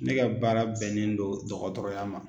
Ne ka baara bɛnnen don dɔgɔtɔrɔya ma.